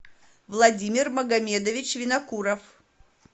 владимир магомедович винокуров